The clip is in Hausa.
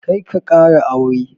Karka ƙara aure.